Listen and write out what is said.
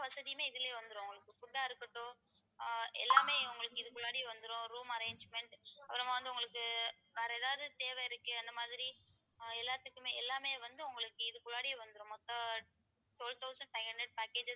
வசதியுமே இதுலயே வந்துரும் உங்களுக்கு food ஆ இருக்கட்டும் ஆஹ் எல்லாமே உங்களுக்கு இதுக்கு வந்துரும் room arrangement அப்புறமா வந்து உங்களுக்கு வேற எதாவது தேவை இருக்கு அந்த மாதிரி ஆஹ் எல்லாத்துக்குமே எல்லாமே வந்து உங்களுக்கு இதுக்குள்ளாறயே வந்துரும் மொத்தம் twelve thousand five hundred packages